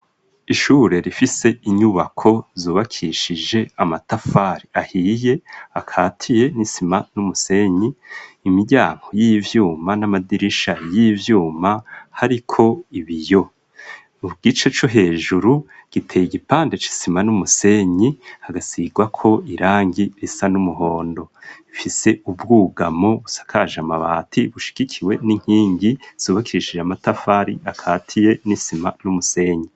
Ishure rifise inyubako zubakishije amatafari ahiye akatiye n'isima n'umusenyi, imiryango y'ivyuma n'amadirisha y'ivyuma hariko ibiyo. Igice co hejuru giteye igipande c'isima n'umusenyi hagasigwako irangi risa n'umuhondo, ifise ubwugamo busakaje amabati bushigikiwe n'inkingi zubakishije amatafari akatiye n'isima n'umusenyi.